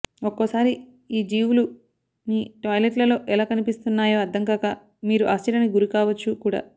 ఒక్కోసారి ఈ జీవులు మీ టాయిలెట్లలో ఎలా కనిపిస్తున్నాయో అర్ధంకాక మీరు ఆశ్చర్యానికి గురికావచ్చు కూడా